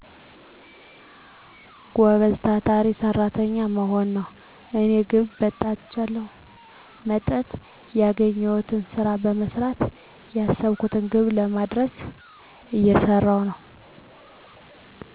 ጎበዝ ታታሪ ሰራተኛ መሆን ነው። የኔ ግብ በተቻለኝ መጠን ያገኘውትን ስራ በመሰራት ያሰብኩትን ግብ ለመድረስ እየሰራው ነው።